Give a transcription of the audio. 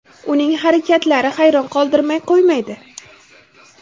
Uning harakatlari hayron qoldirmay qo‘ymaydi.